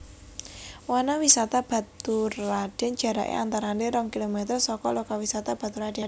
Wanawisata Baturradèn jaraké antarané rong kilometer saka lokawisata Baturadèn